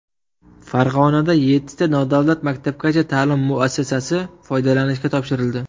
Farg‘onada yettita nodavlat maktabgacha ta’lim muassasasi foydalanishga topshirildi.